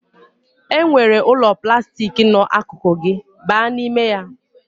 E nwere ụlọ plastik nọ akụkụ gị, baa n'ime ya